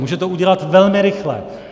Může to udělat velmi rychle.